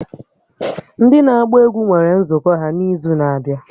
Ndị na-agba egwú nwere nzukọ ha n'izu na-abịa